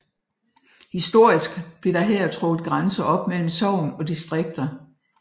Historisk blev der her trukket grænser op mellem sogn og distrikter